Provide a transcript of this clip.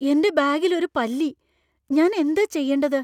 എന്‍റെ ബാഗിൽ ഒരു പല്ലി. ഞാൻ എന്താ ചെയ്യണ്ടത് ?